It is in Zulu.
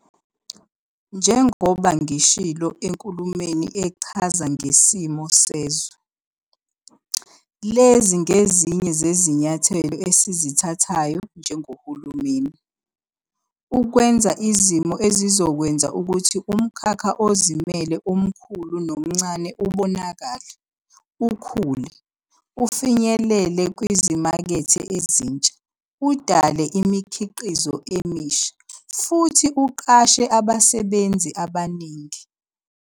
Njengoba ngishilo eNkulumweni Echaza Ngesimo Sezwe, lezi ngezinye zezinyathelo esizithathayo njengohulumeni "ukwenza izimo ezizokwenza ukuthi umkhakha ozimele omkhulu nomncane ubonakale, ukhule, ufinyelele kwizimakethe ezintsha, udale imikhiqizo emisha, futhi uqashe abasebenzi abaningi."